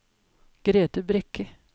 Grethe Brekke